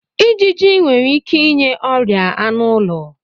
Ijiji nwere ike inye ọrịa anụ ụlọ.